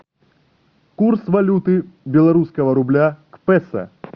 курс валюты белорусского рубля к песо